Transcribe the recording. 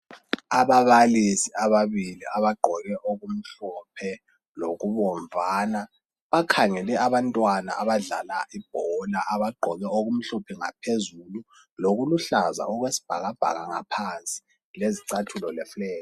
Ababalisi ababili abagqoke okumhlophe lokubomvana, bakhangele abantwana abadlalayo. Bona abagqoke okumhlophe ngaphezulu, lokuluhlaza okwesibhakabhaka ngaphansi lezicathulo.